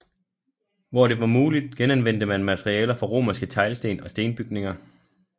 Hvor det var muligt genanvendte man materialer fra romerske teglsten og stenbygninger